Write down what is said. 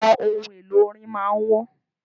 Àwọn ohun èlò orin máà ń wọ́n.